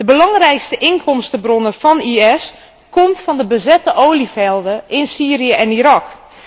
De belangrijkste inkomstenbron van ISIS vormen de bezette olievelden in Syrië en Irak.